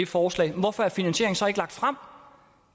forslag hvorfor er finansieringen så ikke lagt frem